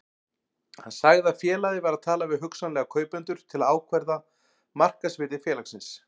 Hann sagði að félagið væri að tala við hugsanlega kaupendur til að ákvarða markaðsvirði félagsins.